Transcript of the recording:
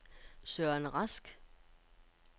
Søren Rask